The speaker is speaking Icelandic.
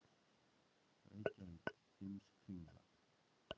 Reykjavík, Heimskringla.